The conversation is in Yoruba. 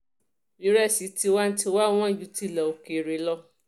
ìrẹsì tiwa-n-tiwa wọn ju tilé òkèèrè lọ